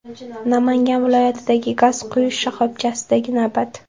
Namangan viloyatidagi gaz quyish shoxobchasidagi navbat.